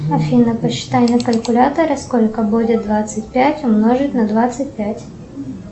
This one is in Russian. афина посчитай на калькуляторе сколько будет двадцать пять умножить на двадцать пять